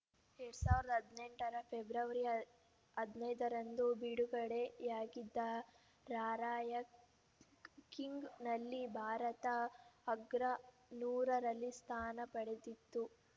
ಎರಡ್ ಸಾವಿರದ ಹದಿನೆಂಟರ ಫೆಬ್ರವರಿ ಹದನೈದರಂದು ಬಿಡುಗಡೆಯಾಗಿದ್ದ ರಾರ‍ಯಂಕಿಂಗ್‌ನಲ್ಲಿ ಭಾರತ ಅಗ್ರ ನೂರರಲ್ಲಿ ಸ್ಥಾನ ಪಡೆದಿತ್ತು